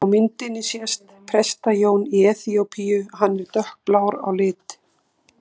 Á myndinni sést Presta-Jón í Eþíópíu, hann er dökkblár á lit.